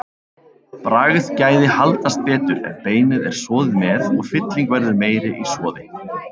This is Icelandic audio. Bragðgæði haldast betur ef beinið er soðið með og fylling verður meiri í soði.